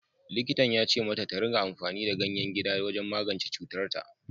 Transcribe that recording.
Likitan ya ce mata ta rika amfani da ganyayen gida wajen magance cutarta.